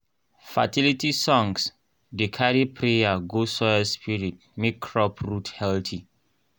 fertility songs dey carry prayer go soil spirit make crop root healthy.